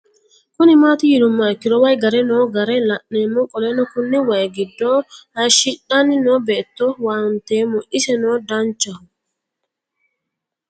Kuni mati yinumoha ikiro wayi gare noo gara la'nemo qoleno Kuni wayi gido hayishixan no beeto huwantemo isi no danchaho